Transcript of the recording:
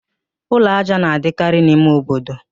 Ụlọ ájá na-adịkarị n'ime obodo